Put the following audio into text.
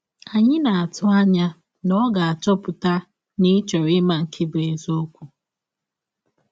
Anyị na - atụ anya na ọ ga - achọpụta na ị chọrọ ịma nke bụ́ eziọkwụ!